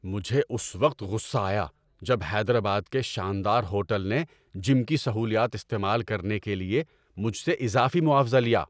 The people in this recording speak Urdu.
مجھے اس وقت غصہ آیا جب حیدرآباد کے شاندار ہوٹل نے جم کی سہولیات استعمال کرنے کے لیے مجھ سے اضافی معاوضہ لیا۔